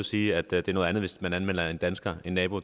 sige at det er noget andet hvis man anmelder en dansker en nabo